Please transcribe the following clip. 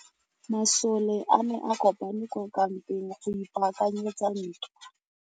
Masole a ne a kopane kwa kampeng go ipaakanyetsa ntwa.